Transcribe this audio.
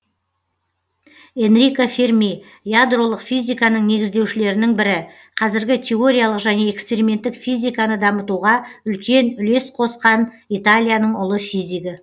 энрико ферми ядролық физиканың негіздеушілерінің бірі қазіргі теориялық және эксперименттік физиканы дамытуға үлкен үлес қосқан италияның ұлы физигі